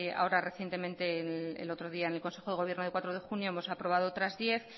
ahora recientemente el otro día en el consejo de gobierno de cuatro de junio hemos aprobado otras diez